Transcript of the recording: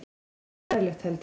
Allt bærilegt, held ég.